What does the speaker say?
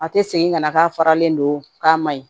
A tɛ segin ka na k'a faralen don k'a maɲi